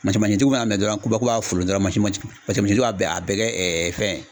mana minɛn dɔrɔn ko b'a ko k'a folon dɔrɔn mansin tigi b'a a bɛɛ a bɛɛ kɛ fɛn